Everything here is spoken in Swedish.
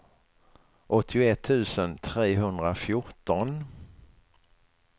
åttioett tusen trehundrafjorton